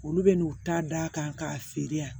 Olu bɛna n'u ta d'a kan k'a feere yan